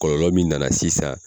Kɔlɔlɔ min nana sisan